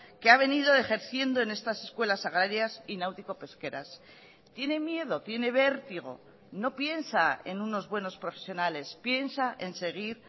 que ha venido ejerciendo en estas escuelas agrarias y náutico pesqueras tiene miedo tiene vértigo no piensa en unos buenos profesionales piensa en seguir